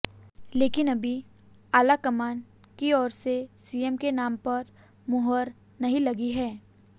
लेकिन अभी आलाकमान की ओर से सीएम के नाम पर मुहर नहीं लगी है